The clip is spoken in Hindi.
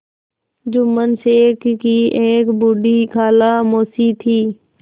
जुम्मन शेख की एक बूढ़ी खाला मौसी थी